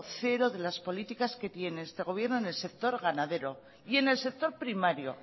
cero de las políticas que tiene este gobierno en el sector ganadero y en el sector primario